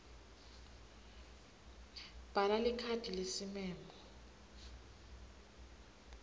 bhala likhadi lesimemo